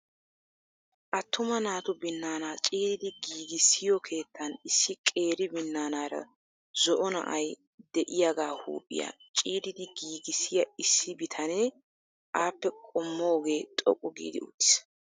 Attuma naatu binaana ciiridi giigissiyo keettan issi qeeri binaanara zo"o na'ay de'iyaaga huuphiyaa ciiridi giigissiya issi bitanee appe qommogee xoqqu giidi uttiis.